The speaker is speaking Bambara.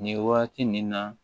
Nin waati nin na